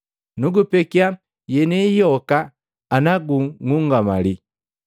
Nagupekia yenieyi yoka, ana gung'ungamali.”